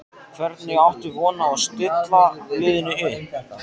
Hvernig áttu von á að stilla liðinu upp?